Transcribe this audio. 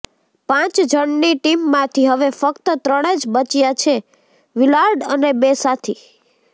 પાંચ જણની ટીમમાંથી હવે ફ્ક્ત ત્રણ જ બચ્યા છેઃ વિલાર્ડ અને બે સાથી